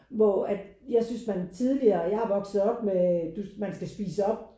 Hvor at jeg synes man tidligere jeg har vokset op med du man skulle spise op